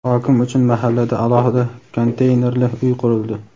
Hokim uchun mahallada alohida konteynerli uy qurildi.